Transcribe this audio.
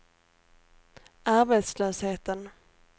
arbetslösheten